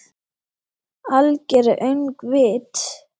Algert öngvit!